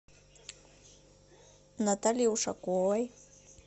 натальи ушаковой